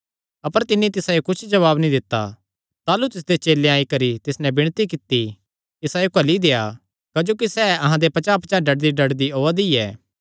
अपर तिन्नी तिसायो कुच्छ जवाब नीं दित्ता ताह़लू तिसदे चेलेयां आई करी तिस नैं विणती कित्ती इसायो घल्ली देआ क्जोकि सैह़ अहां दे पचांह़ डड्डदीडड्डदी ओआ दी ऐ